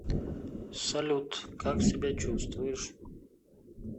салют как себя чувствуешь